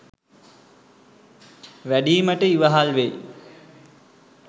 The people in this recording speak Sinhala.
වැඩීමට ඉවහල් වෙයි.